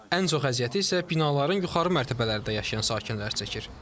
Ən çox əziyyəti isə binaların yuxarı mərtəbələrində yaşayan sakinlər çəkir.